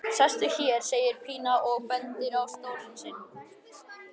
Sestu hér, segir Pína og bendir á stólinn sinn.